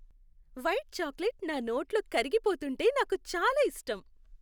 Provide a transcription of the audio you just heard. White chocolate నా నోట్లో కరిగిపోతుంటే నాకు చాలా ఇష్టం.